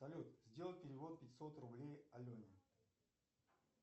салют сделай перевод пятьсот рублей алене